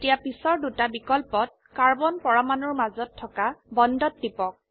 এতিয়া পিছৰ দুটা বিকল্পত কাৰ্বন পৰমাণুৰ মাজত থকা বন্ডত টিপক